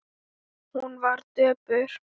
Hún var döpur.